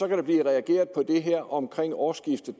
kan blive reageret på det her omkring årsskiftet